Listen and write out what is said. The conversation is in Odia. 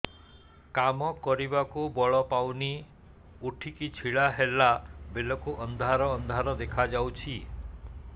କାମ କରିବାକୁ ବଳ ପାଉନି ଉଠିକି ଛିଡା ହେଲା ବେଳକୁ ଅନ୍ଧାର ଅନ୍ଧାର ଦେଖା ଯାଉଛି